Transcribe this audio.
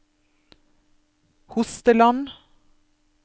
Hosteland